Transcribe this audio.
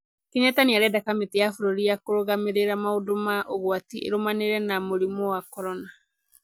Kenyatta nĩ arenda kamĩtĩ ya bũrũri ya kũrũgamĩrĩra maũndũ ma ũgwati ĩrũmanĩrĩre na mũrimũ wa korona.